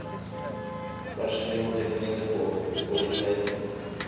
personeelten einde kwaliteiten